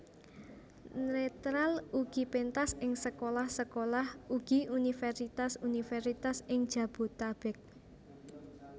Netral ugi pentas ing sekolah sekolah ugi universitas universitas ing Jabotabek